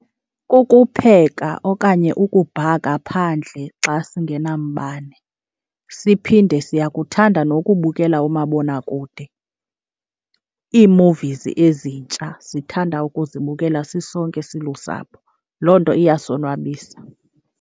Kukupheka okanye ukubhaka phandle xa singenambane, siphinde siyakuthanda nokubukela umabonakude. Ii-movies ezintsha sithanda ukuzibukela sisonke silusapho, loo nto iyasonwabisa.